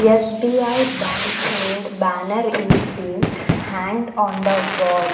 S_B_I bank named banner is been hanged on the wall.